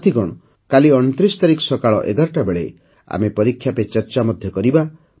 ସାଥିଗଣ କାଲି ଅଣତିରିଶ ତାରିଖ ସକାଳ ଏଗାରଟା ବେଳେ ଆମେ ପରୀକ୍ଷା ପେ ଚର୍ଚ୍ଚା ମଧ୍ୟ କରିବା